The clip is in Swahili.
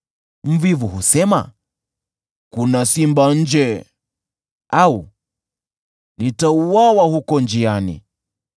Mvivu husema, “Yuko simba nje!” au, “Nitauawa katika mitaa!”